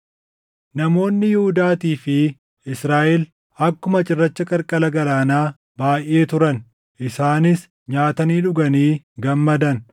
Namoonni Yihuudaatii fi Israaʼel akkuma cirracha qarqara galaanaa baayʼee turan; isaanis nyaatanii dhuganii gammadan.